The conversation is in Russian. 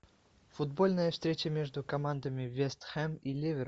футбольная встреча между командами вест хэм и ливер